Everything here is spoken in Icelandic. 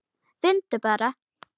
Finndu bara!